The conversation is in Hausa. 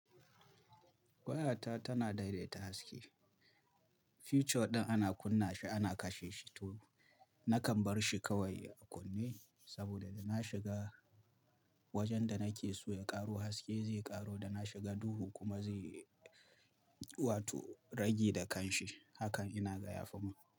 Wayata tana daidaita haske. Feature ɗin ana kunna shi ana kashe shi to, nakan bar shi kawai a kunne saboda da na shiga wajen da nake so ya ƙaro haske zai ƙaro, da na shiga duhu kuma zai wato rage da kanshi. Hakan inaga ya fimin.